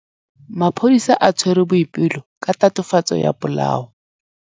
Maphodisa a tshwere Boipelo ka tatofatsô ya polaô.